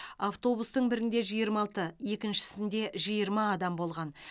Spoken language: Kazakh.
автобустың бірінде жиырма алты екіншісінде жиырма адам болған